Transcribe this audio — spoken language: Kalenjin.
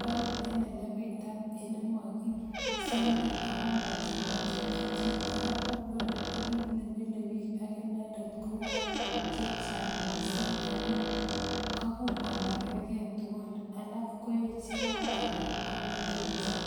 koruut en elepita ele makisember ako mochobomochob chii. Kora paipai ini ko kit nemile akinendet ko koi chechang missing ako kobuur komakerker tugul alak koechen ko alak ko mengechen